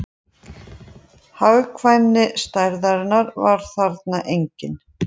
Hagkvæmni stærðarinnar var þarna engin